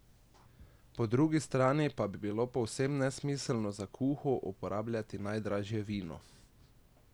Po drugi strani pa bi bilo povsem nesmiselno za kuho uporabljati najdražje vino.